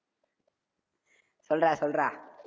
சொல்றா, சொல்றா